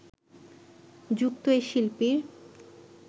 যুক্ত এ শিল্পীর